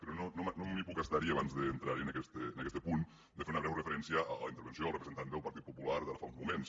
però no em puc estar abans d’entrar en aquest punt de fer una breu referència a la intervenció del representant del partit popular d’ara fa uns moments